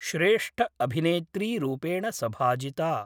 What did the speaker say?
श्रेष्ठअभिनेत्रीरूपेण सभाजिता।